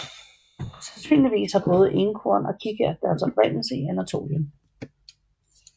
Sandsynligvis har både Enkorn og Kikært deres oprindelse i Anatolien